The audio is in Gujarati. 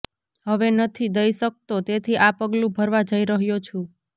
હવે નથી દઈ શકતો તેથી આ પગલું ભરવા જઇ રહ્યો છું